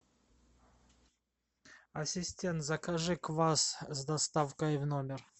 ассистент закажи квас с доставкой в номер